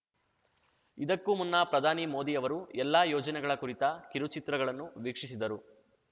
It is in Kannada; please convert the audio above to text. ಇದಕ್ಕೂ ಮುನ್ನ ಪ್ರಧಾನಿ ಮೋದಿ ಅವರು ಎಲ್ಲ ಯೋಜನೆಗಳ ಕುರಿತ ಕಿರುಚಿತ್ರಗಳನ್ನು ವೀಕ್ಷಿಸಿದರು